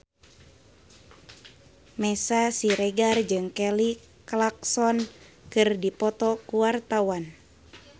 Meisya Siregar jeung Kelly Clarkson keur dipoto ku wartawan